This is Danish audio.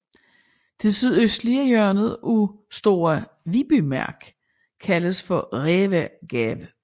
Det sydøstlige hjørne af Store Vi bymark kaldes for Rævegab